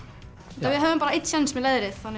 við höfðum bara einn séns með leðrið þannig